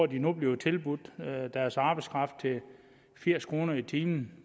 der nu bliver tilbudt deres arbejdskraft til firs kroner i timen